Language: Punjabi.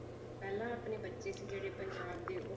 ਪਹਿਲਾਂ ਆਪਣੇ ਬੱਚੇ ਸੀ ਜਿਹੜੇ ਪੰਜਾਬ ਦੇ ਉਹ